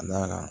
Ka d'a kan